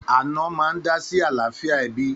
Ànọ́ máa ń dá sí àlàáfíà ẹbí